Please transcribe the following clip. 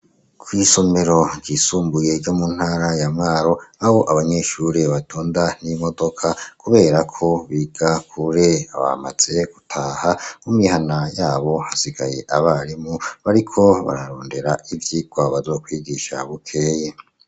Kw'isomero ryisumbuye ryo mu ntara ya Mwaro aho abanyeshure batunda nk'imodoka kuberako biga kure, bamaze gutaha mumihana yabo hasigaye abarimu bariko bararondera ivyigwa bazokwigisha bukeye.